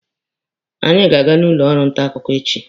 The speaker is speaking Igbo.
Anyị ga-aga n'ụlọ ọrụ nta akụkọ echi.